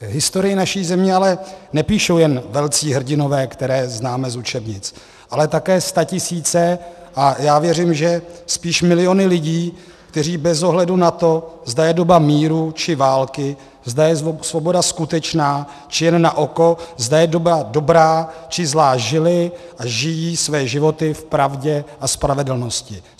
Historii naší země ale nepíší jen velcí hrdinové, které známe z učebnic, ale také statisíce, a já věřím, že spíš miliony lidí, kteří bez ohledu na to, zda je doba míru či války, zda je svoboda skutečná či jen na oko, zda je doba dobrá či zlá, žili a žijí své životy v pravdě a spravedlnosti.